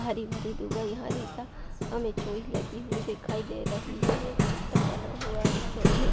हरी भरी धूप आई हरी त हमें लगी हुई दिखाई दे रही है ये एक सिस्टम बना हुआ इस चौतरे --